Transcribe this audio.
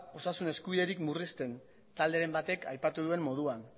osasun eskubiderik murrizten talderen batek aipatu duen moduan